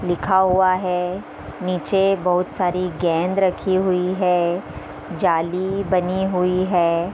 लिखा हुआ है नीचे बोहोत सारी गेंद रखी हुई हैं जाली बनी हुई है।